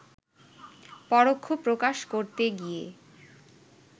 পরোক্ষ প্রকাশ করতে গিয়ে